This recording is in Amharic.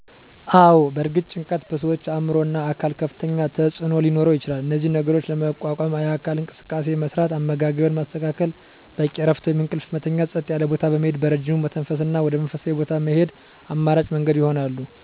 አወ በእርግጥ ጭንቀት በሠዋች አዕምሮ እና አካል ከፍተኛ ተፅዕኖ ሊኖረው ይችላል እነዚህን ነገሮች ለመቋቋም የአካል እንቅስቃሴ መስራት፣ አመጋገብን ማስተካከል፣ በቂ እረፍት ወይም እንቅልፍ መተኛት፣ ፀጥ ያለ ቦታ በመሄድ በረጅም መተንፈስ እና ወደ መንፈሳዊ ቦታ መሄድ አማራጭ መንገድ ይሆናሉ።